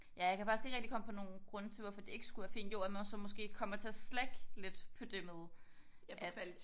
Ja jeg kan faktisk ikke rigtig komme på nogle grunde til hvorfor det ikke skulle være fint jo at man så måske kommer til at slacke lidt på det med at